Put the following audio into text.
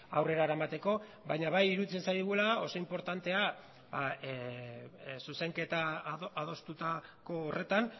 aurrera eramateko baina bai iruditzen zaigula oso inportantea zuzenketa adostutako horretan